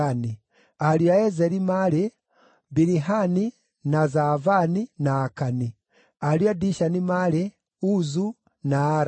Ariũ a Ezeri maarĩ: Bilihani, na Zaavani, na Akani. Ariũ a Dishani maarĩ: Uzu, na Arani.